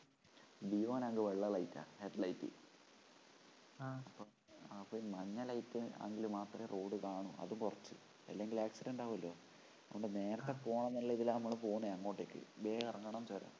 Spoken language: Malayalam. deo നാണെങ്കിൽ വെള്ള ലൈറ്റാ ഹെഡ്‍ലൈറ്റ് ആ അപ്പൊഈ മഞ്ഞ ലൈറ്റ് ആണെങ്കിൽ മാത്രേ റോഡ് കാണൂഅത് കൊറച്ചു ഇല്ലെങ്കിൽ accident ആവൂല്ലൊഅതുകൊണ്ട് നേരത്തെ പോവണം എന്നുള്ള ഇതിലാ നമ്മള് പോവുന്നേ അങ്ങോട്ടേക്ക് വേഗം ഇറങ്ങണം ചുരം